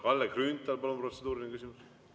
Kalle Grünthal, palun, protseduuriline küsimus!